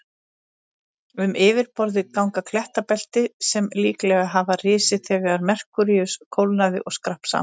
Um yfirborðið ganga klettabelti sem líklega hafa risið þegar Merkúríus kólnaði og skrapp saman.